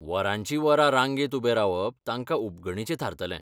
वरांचीं वरां रांगेंत उबें रावप तांकां उबगणेचें थारतलें.